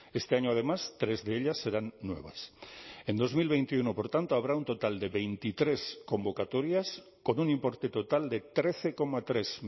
este año además tres de ellas serán nuevas en dos mil veintiuno por tanto habrá un total de veintitrés convocatorias con un importe total de trece coma tres